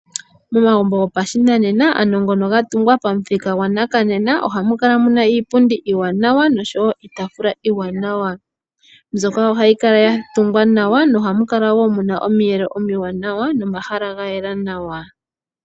Momagumbo go pashinanena ano ngono geli gatungwa pamuthika gwanakanena ohamu kala muna iipundi iiwanawa nosho woo iitaafula yokolela. Ohaga kala gatungwa nawa nosho woo ohaga kala gayela nawa.